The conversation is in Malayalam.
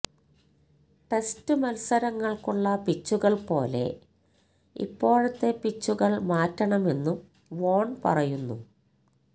ടെസ്റ്റ് മത്സരങ്ങൾക്കുള്ള പിച്ചുകൾ പോലെ ഇപ്പോഴത്തെ പിച്ചുകൾ മാറ്റണമെന്നും വോൺ പറയുന്നു